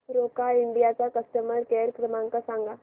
Roca India चा customer care क्रमांक सांगा